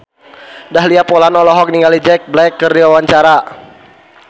Dahlia Poland olohok ningali Jack Black keur diwawancara